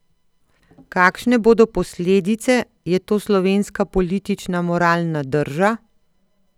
Kakšne bodo posledice, je to slovenska politična moralna drža?